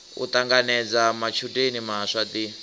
u ṱanganedza matshudeni maswa ḓi